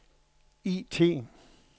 IT